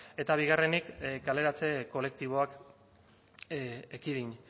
eta bigarrenik kaleratze kolektiboak ekidin